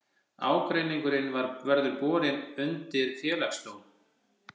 Ágreiningurinn verði borin undir félagsdóm